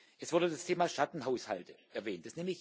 Es wurde das Thema Schattenhaushalte erwähnt.